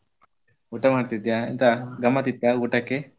ಊಟ ಮಾಡ್ತಿದ್ಯಾ ಎಂತ ಗಮ್ಮತ್ ಇತ್ತಾ ಊಟಕ್ಕೆ?